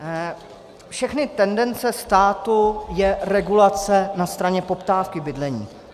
Všechny tendence státu jsou regulace na straně poptávky bydlení.